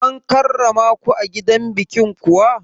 An karramaku a gidan bikin kuwa?